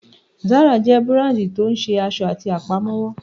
Zara jẹ́ búràndì tí ó ń ṣe aṣọ àti Àpámọ́wọ́